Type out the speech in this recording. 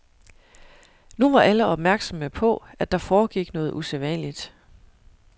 Nu var alle opmærksomme på, at der foregik noget usædvanligt.